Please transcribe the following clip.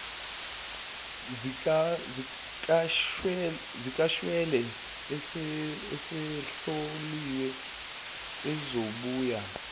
zikashwele esezihloliwe ezibuya